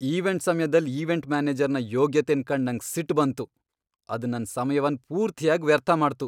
Event ಸಮ್ಯದಲ್ event ಮ್ಯಾನೇಜರ್ನ ಯೋಗ್ಯತೆನ್ ಕಂಡ್ ನಂಗ್ ಸಿಟ್ ಬಂತು, ಅದ್ ನನ್ ಸಮ್ಯವನ್ ಪೂರ್ತಿಯಾಗ್ ವ್ಯರ್ಥ ಮಾಡ್ತು.